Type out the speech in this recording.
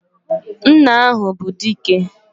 Nna ahụ bụ Dike!